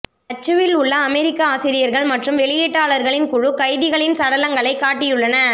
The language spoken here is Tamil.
தச்சுவில் உள்ள அமெரிக்க ஆசிரியர்கள் மற்றும் வெளியீட்டாளர்களின் குழு கைதிகளின் சடலங்களை காட்டியுள்ளன